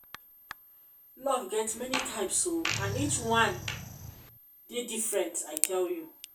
love get many types oo and each one and each one dey different i tell you